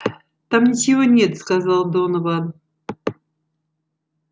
там ничего нет сказал донован